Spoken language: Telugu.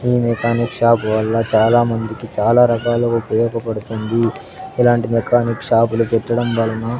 ఈ మెకానిక్ షాప్ వల్ల చాలామందికి చాలా రకాలుగా ఉపయోగపడుతుంది ఇలాంటి మెకానిక్ షాపులు పెట్టడం వలన--